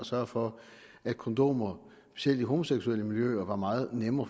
sørge for at kondomer selv i homoseksuelle miljøer var meget nemme